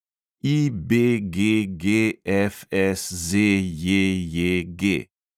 IBGGFSZJJG